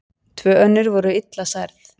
Tvö önnur voru illa særð.